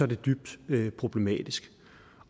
det dybt problematisk